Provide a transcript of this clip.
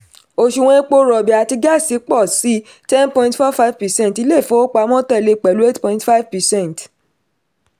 òṣùwọ̀n epo rọ̀bì àti gáàsì pọ̀ sí ten point four five per cent ilé ìfowópamọ́ tẹ̀lé pẹ̀lú eight point five per cent